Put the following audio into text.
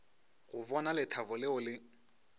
go bona lethabo leo le